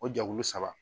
O jɛkulu saba